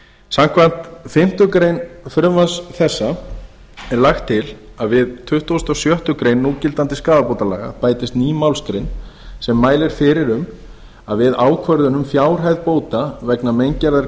samkvæmt fimmtu greinar frumvarps þessa er lagt til að við tuttugustu og sjöttu grein núgildandi skaðabótalaga bætist ný málsgrein sem mælir fyrir um að við ákvörðun um fjárhæð bóta vegna meingerðar